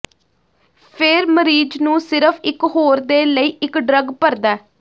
ਫਿਰ ਮਰੀਜ਼ ਨੂੰ ਸਿਰਫ਼ ਇਕ ਹੋਰ ਦੇ ਲਈ ਇੱਕ ਡਰੱਗ ਭਰਦਾ